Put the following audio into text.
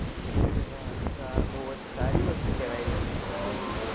અરે વા તો તો આ બૌ સારી વસ્તુ કેવાય કેમ કે